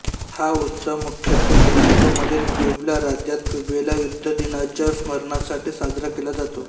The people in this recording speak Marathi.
हा उत्सव मुख्यत्वे मेक्सिकोमधील प्युबला राज्यात प्युबेला युद्धदिनाच्या स्मरणासाठी साजरा केला जातो